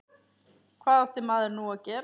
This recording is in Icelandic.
Hvað átti maður nú að gera?